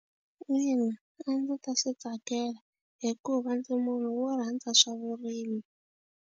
Ina, a ndzi ta swi tsakela hikuva ndzi munhu wo rhandza swa vurimi.